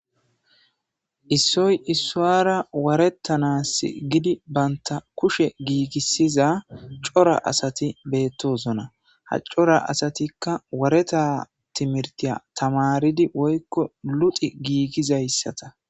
Issoy issuwara warettanas gidi bantta kushe giigisida cora asati beettosona. ha cora asatikka wareta timirtiya tamaaridi woykko luxi giigizayssata.